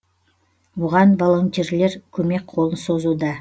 оған волонтерлер көмек қолын созуда